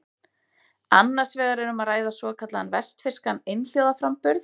Annars vegar er um að ræða svokallaðan vestfirskan einhljóðaframburð.